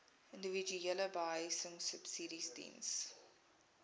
individuele behuisingsubsidies diens